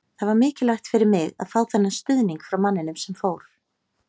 Það var mikilvægt fyrir mig að fá þennan stuðning frá manninum sem fór.